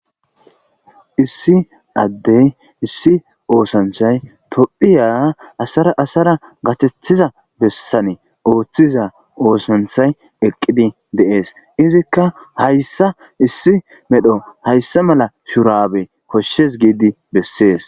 issi addey issi oosanchay topphiya asara asara gathethiza bessane ooththiza oosanthay eqqidi deees izikka hayssa issi medho hayssa mala shurabe koshshes giidi bessees